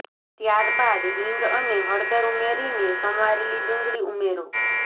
ત્યારબાદ હિંગ અને હળદર ઉમેરી ને સમારેલી ડુંગળી ઉમેરો